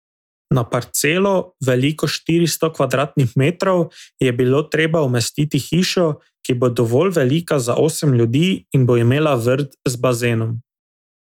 Na parcelo, veliko štiristo kvadratnih metrov, je bilo treba umestiti hišo, ki bo dovolj velika za osem ljudi in bo imela vrt z bazenom.